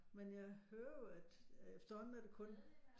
Men jeg hører jo at at efterhånden er det kun